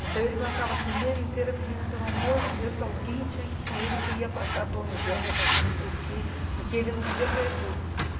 Então, ele passava a semana inteira pedindo, pelo amor de Deus, que alguém tinha que ir com ele, que ia passar a Tom e Jerry, ia passar não sei o quê, e que ele não queria perder.